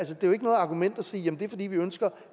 jo ikke noget argument at sige at det er fordi vi ønsker